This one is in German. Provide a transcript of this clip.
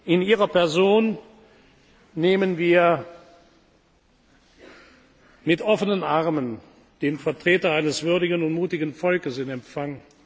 in Ihrer Person nehmen wir mit offenen Armen den Vertreter eines würdigen und mutigen Volkes in Empfang.